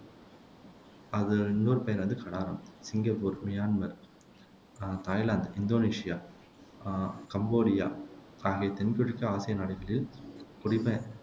அது இன்னொரு பேரு வந்து கடாரம், சிங்கப்பூர், மியான்மர் அஹ் தாய்லாந்து, இந்தோனேசியா, அஹ் கம்போடியா ஆகிய தென்கிழக்கு ஆசிய நாடுகளில் குடிப